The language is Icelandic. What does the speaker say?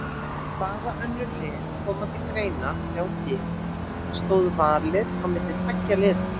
Hvaða önnur lið komu til greina hjá þér, stóð valið á milli tveggja liða?